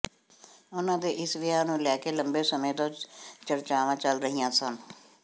ਉਨ੍ਹਾਂ ਦੇ ਇਸ ਵਿਆਹ ਨੂੰ ਲੈ ਕੇ ਲੰਬੇ ਸਮੇਂ ਤੋਂ ਚਰਚਾਵਾਂ ਚੱਲ ਰਹੀਆਂ ਸਨ